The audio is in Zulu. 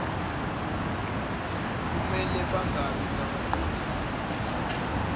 kumele bangabi ngabaqondisi